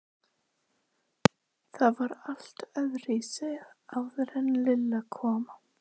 Það var allt öðruvísi áður en Lilla kom.